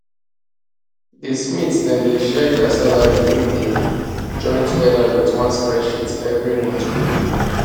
di smiths dem dey share dia salary wey dem join togeda wit one spreadsheet every month quick quick